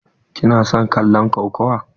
Ki na son kallon kokawa?